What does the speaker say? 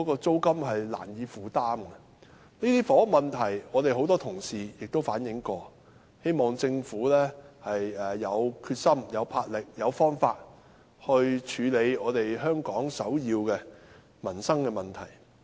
這些房屋問題，很多同事已反映過，我希望政府有決心、有魄力、有方法去處理香港這項首要民生問題。